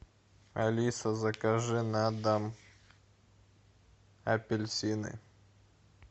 алиса закажи на дом апельсины